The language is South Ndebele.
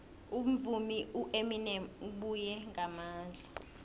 umvumi ueminem ubuye ngamandla